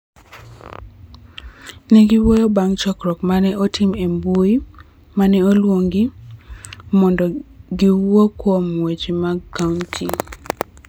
Ne giwuoyo bang� chokruok ma ne otim e mbui ma ne oluingi mondo giwuo kuom weche mag kaonti.